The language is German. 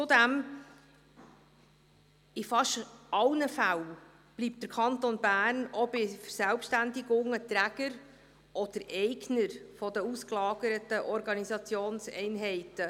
Zudem bleibt der Kanton Bern in fast allen Fällen auch bei Verselbständigungen Träger oder Eigner der ausgelagerten Organisationseinheiten.